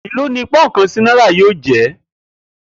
Èló ni pó̩ùn kan sí náírà yóò jé̩?